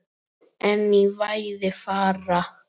En í fæði fara